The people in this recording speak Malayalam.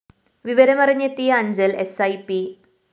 വിവരമറിഞ്ഞെത്തിയ അഞ്ചല്‍ എസ്‌ഐ പി